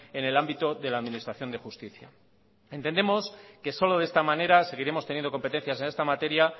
en el ámbito de la administración de justicia entendemos que solo de esta manera seguiremos teniendo competencias en esta materia